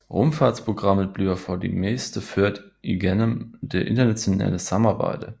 Rumfartsprogrammet bliver for det meste ført igennem det internationale samarbejde